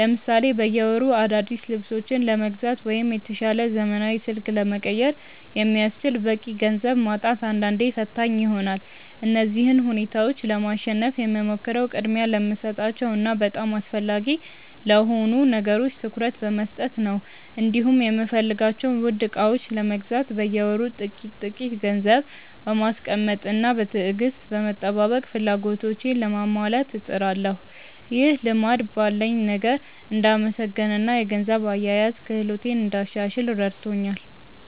ለምሳሌ በየወሩ አዳዲስ ልብሶችን ለመግዛት ወይም የተሻለ ዘመናዊ ስልክ ለመቀየር የሚያስችል በቂ ገንዘብ ማጣት አንዳንዴ ፈታኝ ይሆናል። እነዚህን ሁኔታዎች ለማሸነፍ የምሞክረው ቅድሚያ ለሚሰጣቸው እና በጣም አስፈላጊ ለሆኑ ነገሮች ትኩረት በመስጠት ነው፤ እንዲሁም የምፈልጋቸውን ውድ ዕቃዎች ለመግዛት በየወሩ ጥቂት ጥቂት ገንዘብ በማስቀመጥና በትዕግስት በመጠባበቅ ፍላጎቶቼን ለማሟላት እጥራለሁ። ይህ ልማድ ባለኝ ነገር እንድመሰገንና የገንዘብ አያያዝ ክህሎቴን እንዳሻሽል ረድቶኛል።